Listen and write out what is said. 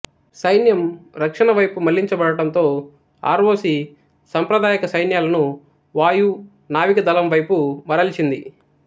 సైన్యం రక్షణవైపు మళ్ళించబడడంతో ఆర్ ఒ సి సంప్రదాయక సైన్యాలను వాయు నావిక దళంవైపు మరల్చింది